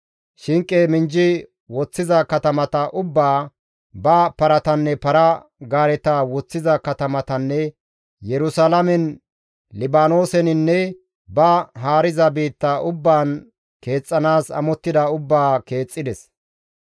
shinqe minjji woththiza katamata ubbaa, ba paratanne para-gaareta woththiza katamatanne Yerusalaamen, Libaanooseninne ba haariza biitta ubbaan keexxanaas amottida ubbaa keexxides.